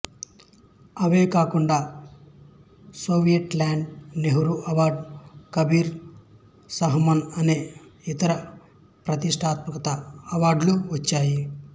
అవే కాకుండా Soviet Land Nehru award Kabir Samman అనేక యితర ప్రతిష్ఠాత్మక అవార్డులు వచ్చాయి